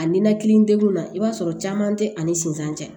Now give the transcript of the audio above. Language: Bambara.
A ninakili degunna i b'a sɔrɔ caman tɛ ani sinsan cɛ